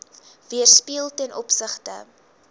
weerspieël ten opsigte